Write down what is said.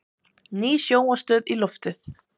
Ný sjónvarpsstöð í loftið